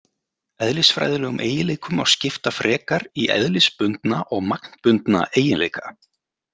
Eðlisfræðilegum eiginleikum má skipta frekar í eðlisbundna og magnbundna eiginleika.